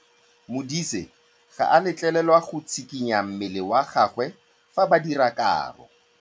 Modise ga a letlelelwa go tshikinya mmele wa gagwe fa ba dira karô.